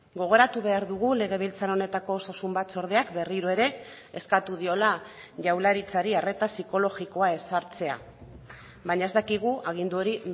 gogoratu behar dugu legebiltzar honetako osasun batzordeak berriro ere eskatu diola jaurlaritzari arreta psikologikoa ezartzea baina ez dakigu agindu hori